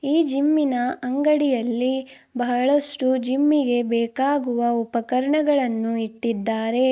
ಈ ಜಿಮ್ಮಿನ ಅಂಗಡಿಯಲ್ಲಿ ಬಹಳಷ್ಟು ಜಿಮ್ಮಿಗೆ ಬೇಕಾಗುವ ಉಪಕರಣಗಳನ್ನು ಇಟ್ಟಿದ್ದಾರೆ.